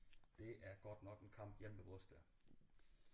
Det er godt nok en kamp hjemme ved os da